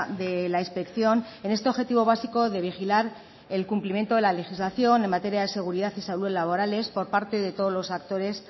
de la inspección en este objetivo básico de vigilar el cumplimiento de la legislación en materia de seguridad y salud laborales por parte de todos los actores